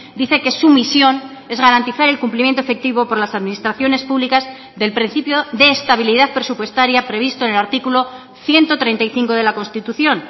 dice que su misión es garantizar el cumplimiento efectivo por las administraciones públicas del principio de estabilidad presupuestaria previsto en el artículo ciento treinta y cinco de la constitución